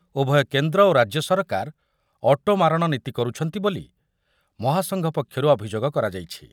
ଉଭୟ କେନ୍ଦ୍ର ଓ ରାଜ୍ୟ ସରକାର ଅଟୋ ମାରଣ ନୀତି କରୁଛନ୍ତି ବୋଲି ମହାସଂଘ ପକ୍ଷରୁ ଅଭିଯୋଗ କରାଯାଇଛି।